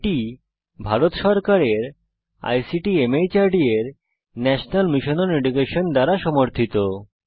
এটি ভারত সরকারের ICT MHRD এর ন্যাশনাল মিশন ওন এডুকেশন দ্বারা সমর্থিত